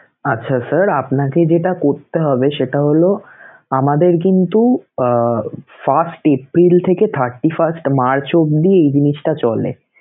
আচ্ছা, sir আপনাকে যেটা করতে হবে সেটা হলো, আমাদের কিন্তু আহ first এপ্রিল থেকে thirty first মার্চ অবধি এই জিনিসটা চলে.